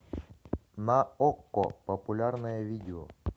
на окко популярное видео